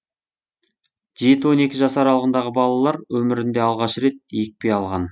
жеті он екі жас аралығындағы балалар өмірінде алғаш рет екпе алған